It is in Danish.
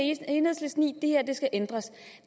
enhedslisten i det her skal ændres